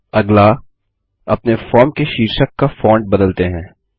अगला अपने फॉर्म के शीर्षक का फ़ॉन्ट बदलते हैं